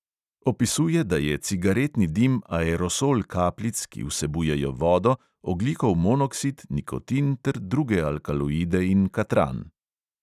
Opisuje, da je cigaretni dim aerosol kapljic, ki vsebujejo vodo, ogljikov monoksid, nikotin ter druge alkaloide in katran.